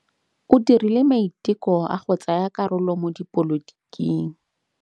O dirile maitekô a go tsaya karolo mo dipolotiking.